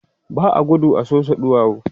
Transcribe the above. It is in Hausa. ba a gudu a Sosa ɗuwawu